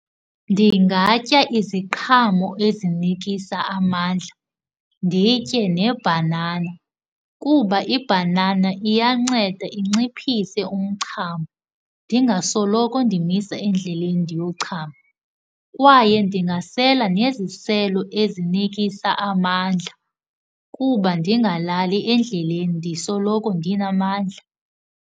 Ndingatya iziqhamo ezinikisa amandla, nditye nebhanana kuba ibhanana iyanceda inciphise umchamo, ndingasoloko ndimisa endleleni ndiyochama. Kwaye ndingasela neziselo ezinikisa amandla kuba ndingalali endleleni ndisoloko ndinamandla.